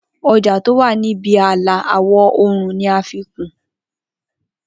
Oja to wa Ni ibi ààlà, àwò òòrùn ní a fi kun